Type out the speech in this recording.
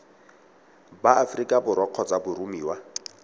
ba aforika borwa kgotsa boromiwa